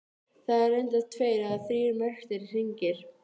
Það eru reyndar tveir eða þrír merktir hringir.